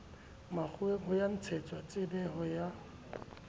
makgoweng ho ya ntshetsatshebetso ya